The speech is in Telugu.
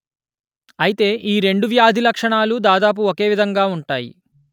ఐతే ఈ రెండు వ్యాధి లక్షణాలు దాదాపు ఒకే విధంగా ఉంటాయి